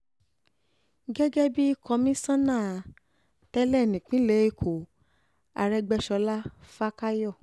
gẹ́gẹ́ bíi kọmíṣánná tẹ́lẹ̀ nípìnlẹ̀ ẹ̀kọ́ arógbéṣọlá fàkàyọ